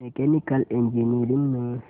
mechanical engineering में